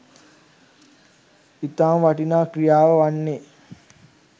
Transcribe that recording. ඉතාම වටිනා ක්‍රියාව වන්නේ